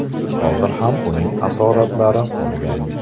Hozir ham uning asoratlari qolgan.